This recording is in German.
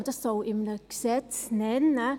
Soll man dies in einem Gesetz nennen?